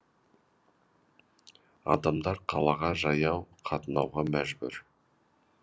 адамдар қалаға жаяу қатынауға мәжбүр